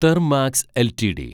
Thermax LTD